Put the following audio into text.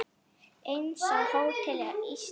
Eins á Hótel Íslandi síðar.